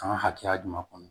An ka hakɛya jumɛn kɔnɔ